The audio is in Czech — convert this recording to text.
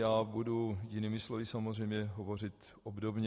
Já budu jinými slovy samozřejmě hovořit obdobně.